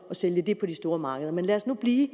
sælge det på de store markeder men lad os nu blive